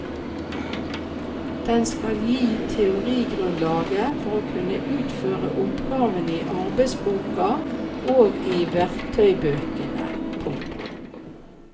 Den skal gi teorigrunnlaget for å kunne utføre oppgavene i arbeidsboka og i verktøybøkene. punktum